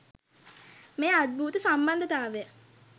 මේ අද්භූත සම්බන්ධතාවය